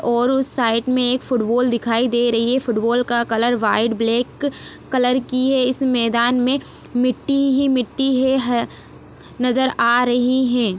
और उस साइड में एक फुटबॉल दिखाई दे रही है फुटबॉल का कलर व्हाइट ब्लैक कलर की है इस मैदान में मिट्टी ही मिट्टी है नजर आ रही है।